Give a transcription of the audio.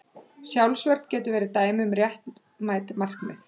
Sjálfsvörn getur verið dæmi um réttmætt markmið.